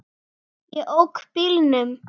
Ég ók bílnum.